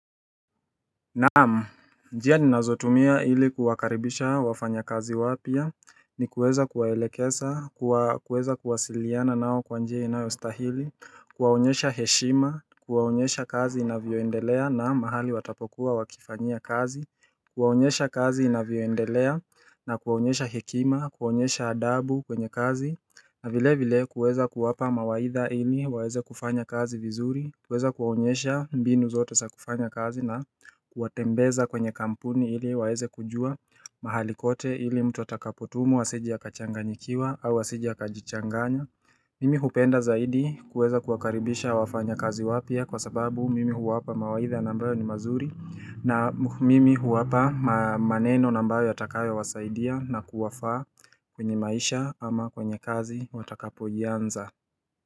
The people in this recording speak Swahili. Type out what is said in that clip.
Naam, njia ninazotumia ili kuwakaribisha wafanya kazi wapya, ni kuweza kuwaelekeza, kuweza kuwasiliana nao kwa njia inayostahili, kuwaonyesha heshima, kuwaonyesha kazi inavyoendelea na mahali watapokuwa wakifanya kazi, kuwaonyesha kazi inavyoendelea na kuwaonyesha hekima, kuwaonyesha adabu kwenye kazi na vile vile kuweza kuwapa mawaidha ili waeze kufanya kazi vizuri, kuweza kuwaonyesha mbinu zote sa kufanya kazi na kuwatembeza kwenye kampuni ili waweze kujua mahali kote ili mtu atakapotumwa asije akachanganyikiwa au asije akajichanganya Mimi hupenda zaidi kuweza kuwakaribisha wafanya kazi wapya kwa sababu mimi huwapa mawaidha na ambayo ni mazuri na mimi huwapa maneno na ambayo yatakayowasaidia na kuwafaa kwenye maisha ama kwenye kazi watakapoianza.